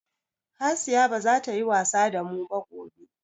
Hasiya baza ta yi wasa damu ba gobe.